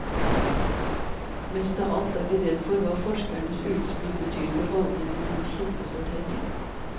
Mest av alt er de redd for hva forskernes utspill betyr for holdningen til kildesortering.